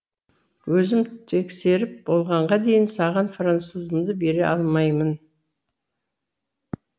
өзім тексеріп болғанға дейін саған французымды бере алмаймын